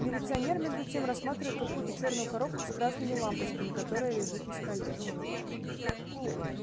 милиционер между тем рассматривает какую-то чёрную коробку с красными лампочками которая лежит на столе